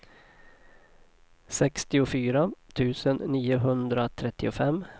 sextiofyra tusen niohundratrettiofem